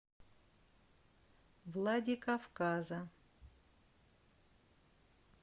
владикавказа